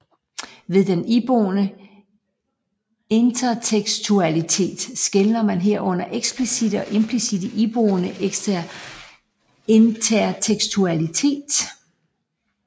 Ved den iboende intertekstualitet skelner man herunder eksplicitte og implicitte iboende intertekstualitet